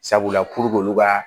Sabula olu ka